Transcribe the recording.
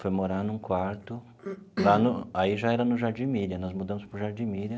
Foi morar num quarto, lá no aí já era no Jardim Miriam, nós mudamos para o Jardim Miriam.